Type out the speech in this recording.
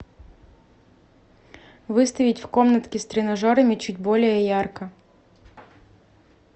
выставить в комнатке с тренажерами чуть более ярко